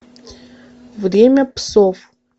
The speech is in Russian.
время псов